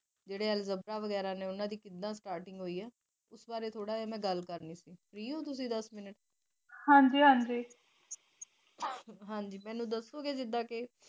ਜਿੜੇ algebra ਵਗ਼ੈਰਾ ਹੈ ਉਨ੍ਹਾਂ ਦੀ ਕਿਵੇਂ starting ਹੈ ਉਸ ਬਾਰੇ ਥੋੜ੍ਹਾ ਮੇਂ ਗੱਲ ਕਰਨੀ ਸੀ ਫਰੀ ਹੋ ਤੁਸੀ ਦਾਸ ਮੀਨੁਤੇ ਹਨ ਜੀ ਹਨ ਜੀ. ਹਨ ਜੀ ਮੈਨੂੰ ਦੱਸੋ ਗੇ ਜਿੱਡਾ ਕ